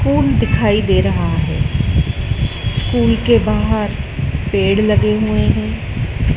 School दिखाई दे रहा है स्कूल के बाहर पेड़ लगे हुए हैं।